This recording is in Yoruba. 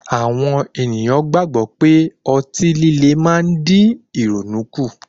Àwọn ènìyàn gbàgbọ́ pé otí líle má ń dín ìrònú kù.